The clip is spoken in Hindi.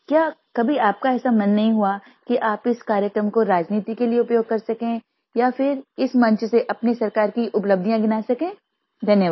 क्या कभी आपका ऐसा मन नहीं हुआ कि आप इस कार्यक्रम को राजनीति के लिये उपयोग कर सकें या फिर इस मंच से अपनी सरकार की उपलब्धियाँ गिना सकें धन्यवाद